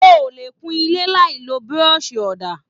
O ò lè kún ilé láì lo burọ̀sì ọ̀dà.